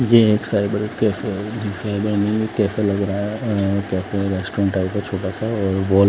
ये एक cyber cafe हैं साइबर कैफे लग रहा है कैफे रेस्टोरेंट टाइप है छोटा सा और वॉल --